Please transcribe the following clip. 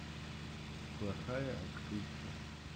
плохая актриса